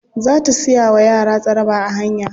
Za ta siya wa yara tsaraba a hanya.